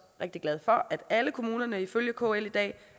rigtig glad for at alle kommuner ifølge kl i dag